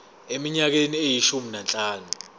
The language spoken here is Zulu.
eminyakeni eyishumi nanhlanu